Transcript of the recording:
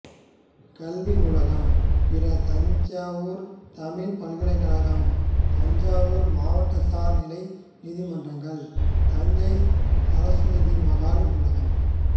கல்வி நூலகம் பிற தஞ்சாவூர் தமிழ்ப் பல்கலைக்கழகம் தஞ்சாவூர் மாவட்ட சார் நிலை நீதிமன்றங்கள் தஞ்சை சரசுவதிமகால் நூலகம்